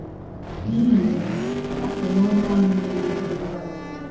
N’ihi ya, ha so n’onye ahụ na - emegide Kraịst.